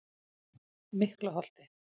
Miklaholti